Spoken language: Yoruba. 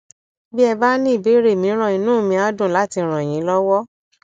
bí ẹ bá ní ìbéèrè mìíràn inú mi á dùn láti ràn yín lọwọ